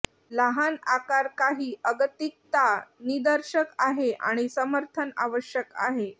लहान आकार काही अगतिकता निदर्शक आहे आणि समर्थन आवश्यक आहे